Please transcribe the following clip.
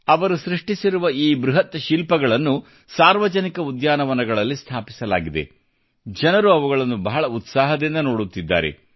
ಅವರು ಸೃಷ್ಟಿಸಿರುವ ಈ ಬೃಹತ್ ಶಿಲ್ಪಗಳನ್ನು ಸಾರ್ವಜನಿಕ ಉದ್ಯಾನವನಗಳಲ್ಲಿ ಸ್ಥಾಪಿಸಲಾಗಿದೆ ಮತ್ತು ಜನರು ಅವುಗಳನ್ನು ಬಹಳ ಉತ್ಸಾಹದಿಂದ ನೋಡುತ್ತಿದ್ದಾರೆ